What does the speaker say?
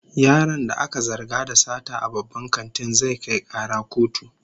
Yaron da aka zarga da sata a babban kantin, zai kai kara kotu